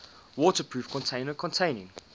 waterproof container containing